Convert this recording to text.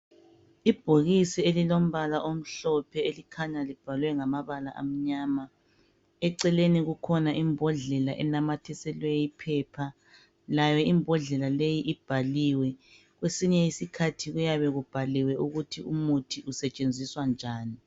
Ibhokisi elombala omhlophe elikhanya libhalwe ngamabala amnyama eceleni kukhona imbodlela enamathisweleyo iphepha layo imbodlela leyi ibhaliwe kwesinye isikhathi kuyabe kubhaliwe ukuthi umuthi usetshenziswa njani.